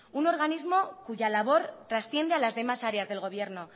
un organismo cuya labor transciende a las demás áreas del gobierno